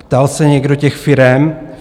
Ptal se někdo těch firem?